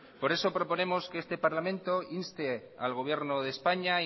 por eso proponemos que este parlamento inste al gobierno de españa a